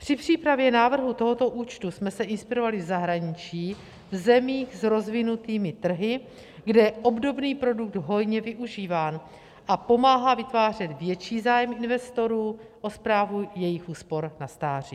Při přípravě návrhu tohoto účtu jsme se inspirovali v zahraničí v zemích s rozvinutými trhy, kde je obdobný produkt hojně využíván a pomáhá vytvářet větší zájem investorů o správu jejich úspor na stáří.